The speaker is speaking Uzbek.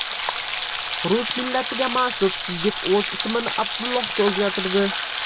Rus millatiga mansub yigit o‘z ismini Abdullohga o‘zgartirdi.